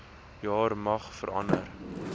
jaar mag verander